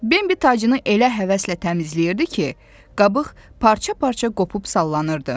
Bembi tacını elə həvəslə təmizləyirdi ki, qabıq parça-parça qopup sallanırdı.